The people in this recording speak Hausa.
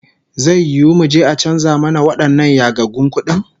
Zai yiwu muje a canza mana wadannan yagaggun kudin?